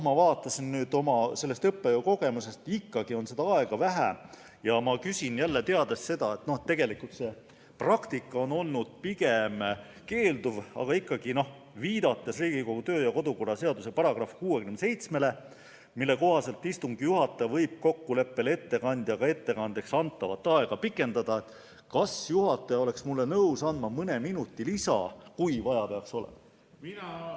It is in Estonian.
Ma vaatan oma õppejõukogemuse põhjal, et aega on ikkagi vähe, ja küsin, teades, et tegelikult praktika on olnud pigem keelduv, aga ikkagi, viidates Riigikogu kodu- ja töökorra seaduse §-le 67, mille kohaselt istungi juhataja võib kokkuleppel ettekandjaga ettekandeks antavat aega pikendada: kas juhataja oleks mulle nõus andma mõne minuti lisaks, kui vaja peaks olema?